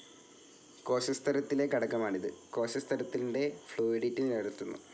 കോശസ്തരത്തിലെ ഘടകമാണിത്. കോശസ്തരത്തിൻ്റെ ഫ്ലൂയിഡിറ്റി നിലനിർത്തുന്നു.